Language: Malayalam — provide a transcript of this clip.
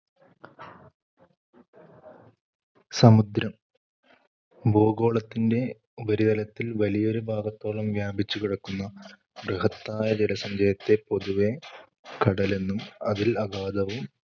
സമുദ്രം ഭൂഗോളത്തിന്‍റെ ഉപരിതലത്തിൽ വലിയൊരു ഭാഗത്തോളം വ്യാപിച്ചു കിടക്കുന്ന ബൃഹത്തായ ജലസഞ്ചയത്തെ പൊതുവെ കടൽ എന്നും, അതിൽ അഗാധവും